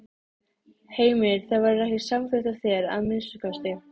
Heimir: Það verður ekki samþykkt af þér, að minnsta kosti?